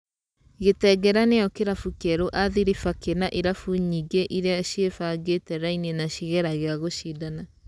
Gĩtengera-nĩyo kĩrabu kĩerũ Athiriba kĩna irabu nyingĩ iria cĩebangĩte raini na cigeragia gũcindana.